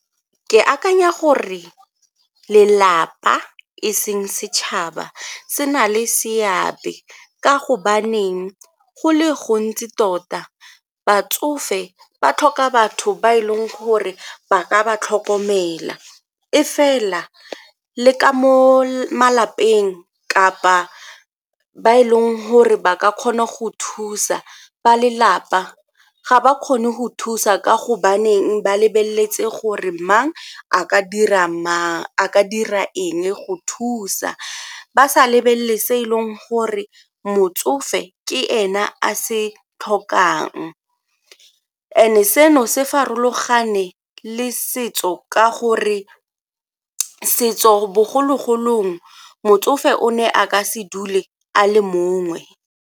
Ke akanya gore lelapa e seng setšhaba se na le seabe ka gobaneng go le gontsi tota batsofe ba tlhoka batho ba e leng gore ba ka ba tlhokomela, e fela le ka mo malapeng kapa ba e leng gore ba ka kgona go thusa ba lelapa ga ba kgone go thusa ka gobaneng ba lebeletse gore mang a ka dira eng go thusa ba sa lebelele se e leng gore motsofe ke ena a se tlhokang and-e seno se farologane le setso ka gore setso bogologolong motsofe o ne a ka se dule a le mongwe.